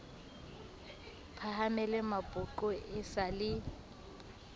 phahamele mapoqo e sa le